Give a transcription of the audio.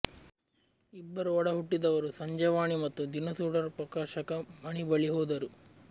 ಇಬ್ಬರು ಒಡಹುಟ್ಟಿದವರು ಸಂಜೆವಾಣಿ ಮತ್ತು ದಿನ ಸುಡರ್ ಪ್ರಕಾಶಕ ಮಣಿ ಬಳಿ ಹೋದರು